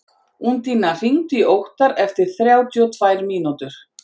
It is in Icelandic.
Undína, hringdu í Óttar eftir þrjátíu og tvær mínútur.